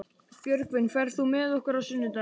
Björgvin, ferð þú með okkur á sunnudaginn?